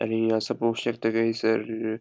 आणि हींगासर पोवोक शकता की हैसर --